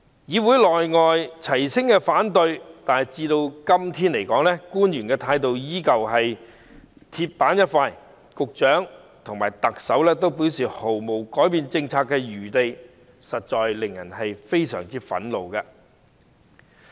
議會內外齊聲反對，但官員的態度至今仍是鐵板一塊，局長和特首均表示該政策毫無改變餘地，實在令人非常憤怒。